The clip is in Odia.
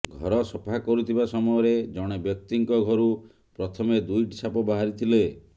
ଘର ସଫା କରୁଥିବା ସମୟରେ ଜଣେ ବ୍ୟକ୍ତିଙ୍କ ଘରୁ ପ୍ରଥମେ ଦୁଇଟି ସାପ ବାହାରି ଥିଲେ